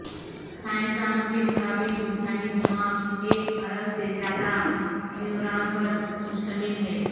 سائنسدانوں کے مطابق انسانی دماغ ایک ارب سے زیادہ نیوران پر مشتمل ہے